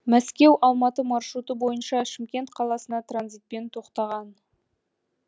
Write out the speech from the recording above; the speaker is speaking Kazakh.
мәскеу алматы маршруты бойынша шымкент қаласына транзитпен тоқтаған